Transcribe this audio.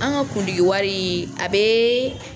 An ka kundigi wari a bɛ